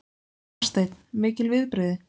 Hafsteinn: Mikil viðbrigði?